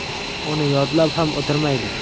Uni yodlab ham o‘tirmaydi.